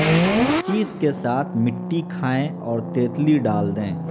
ہر چیز کے ساتھ مٹی کھائیں اور تیتلی ڈال دیں